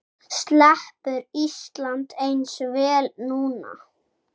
Sleppur Ísland eins vel núna?